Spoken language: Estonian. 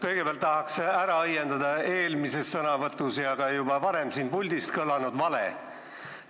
Kõigepealt tahan ära õiendada eelmises sõnavõtus ja ka juba varem siin puldis kõlanud vale.